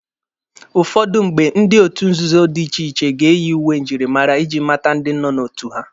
Ụfọdụ mgbe, ndị otu nzuzo dị iche iche ga-eyi uwe njirimara iji mata ndi nọ n'otu ha.